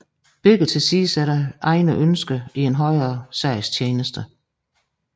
Begge tilsidesætter egne ønsker i en højere sags tjeneste